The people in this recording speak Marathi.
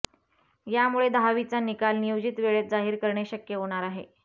यामुळे दहावीचा निकाल नियोजित वेळेत जाहीर करणे शक्य होणार आहे